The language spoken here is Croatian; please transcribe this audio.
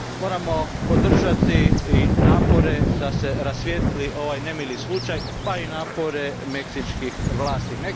Moramo podržati i napore da se rasvijetli ovaj nemili slučaj, pa i napore meksičkih vlasti.